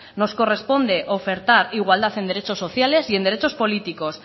nos corresponde ofertar igualdad en derechos sociales y en derechos políticos